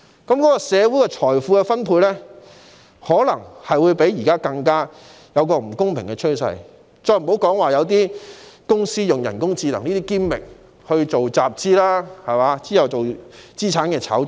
如是者，社會的財富分配便可能出現比現時更不公平的趨勢，遑論有公司會利用人工智能作為噱頭集資，再進行資產炒作等。